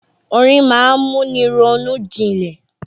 Orin ma ń múni ronú jinlẹ̀.